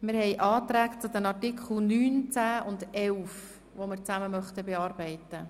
Die Anträge zu den Artikeln 9, 10 und 11 möchten wir gemeinsam beraten.